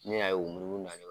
Ne y'a ye u b'i munu munu na